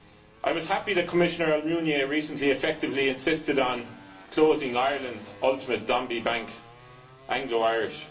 I was happy that Commissioner Almunia recently effectively insisted on closing Ireland's ultimate zombie bank, Anglo Irish.